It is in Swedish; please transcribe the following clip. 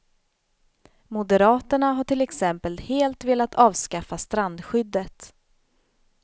Moderaterna har till exempel helt velat avskaffa strandskyddet.